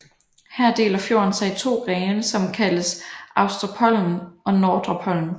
Her deler fjorden sig i to grene som kaldes Austrepollen og Nordrepollen